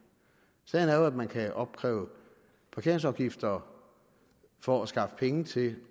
sagen er jo at man kan opkræve parkeringsafgifter for at skaffe penge til